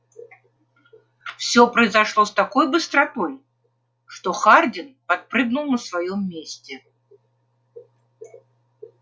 всё произошло с такой быстротой что хардин подпрыгнул на своём месте